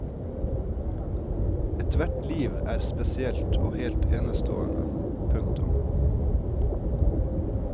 Ethvert liv er spesielt og helt enestående. punktum